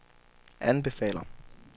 anbefaler